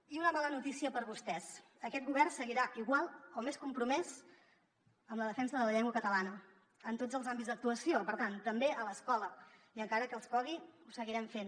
i una mala notícia per a vostès aquest govern seguirà igual o més compromès amb la defensa de la llengua catalana en tots els àmbits d’actuació per tant també a l’escola i encara que els cogui ho seguirem fent